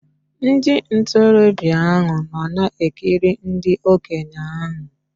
Ndị ntorobịa nọ na-ekiri ndị okenye ahụ